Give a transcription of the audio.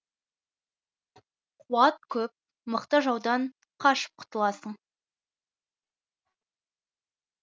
қуат көп мықты жаудан қашып құтыласың